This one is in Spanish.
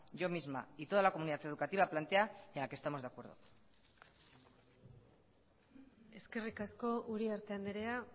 yo misma y toda la comunidad educativa plantea y a la que estamos de acuerdo eskerrik asko uriarte andrea